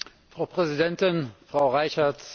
Frau Präsidentin, Frau Reicherts!